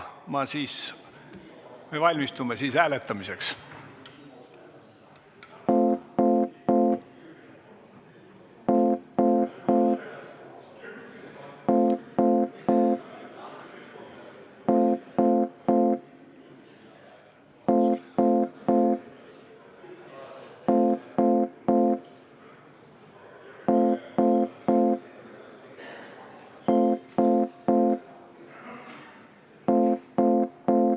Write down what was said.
Me valmistume hääletamiseks.